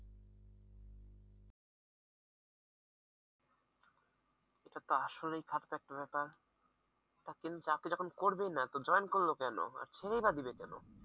এটা তো আসলেই খারাপ একটা ব্যাপার চাকরি যখন করবেই না তো join করলো কেন আর ছেড়েই বা দিবে কেন।